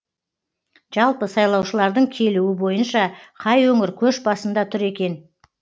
жалпы сайлаушылардың келуі бойынша қай өңір көш басында тұр екен